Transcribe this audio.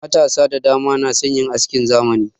Matasa da dama na son yin askin zamani.